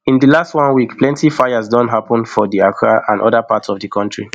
in di last one week plenti fires don happun for di accra and oda parts of di kontri